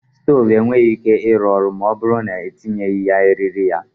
Stove enweghi ike ịrụ ọrụ ma ọ bụrụ na-etinyeghi ya eriri ya